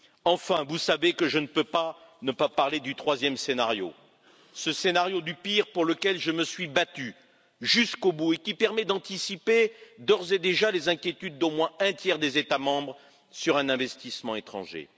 Enfin, vous savez que je ne peux pas ne pas parler du troisième scénario, ce scénario du pire pour lequel je me suis battu, jusqu'au bout, et qui permet d'anticiper, d'ores et déjà, les inquiétudes d'au moins un tiers des États membres sur un investissement étranger.